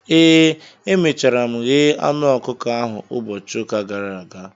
ee, emechara m ghee anụ ọkụkọ ahụ ụbọchị ụka gara aga